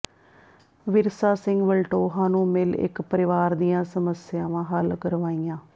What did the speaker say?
ਵਿਰਸਾ ਸਿੰਘ ਵਲਟੋਹਾ ਨੂੰ ਮਿਲ ਇਕ ਪਰਿਵਾਰ ਦੀਆਂ ਸਮੱਸਿਆਵਾਂ ਹੱਲ ਕਰਵਾਈਆਂ